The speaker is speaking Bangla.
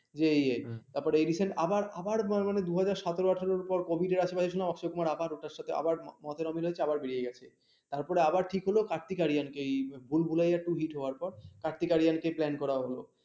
তারপর আবার ঠিক হলো কার্তিক আরিয়ান কে ভুলভালিয়া two hit হওয়ার পর কার্তিক আরিয়ানকে plan করা হলো।